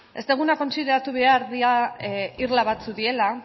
ez deguna kontsideratu behar dira irla batzuk direla